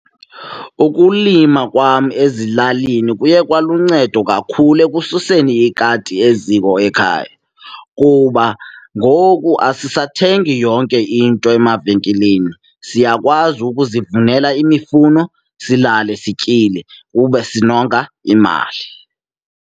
Ukulima kwam ezilalini kuye kwaluncedo kakhulu ekususeni ikati eziko ekhaya. Kuba ngoku asisathengi yonke into emavenkileni, siyakwazi ukuzivunela imifuno silale sityile, kube sinonka imali.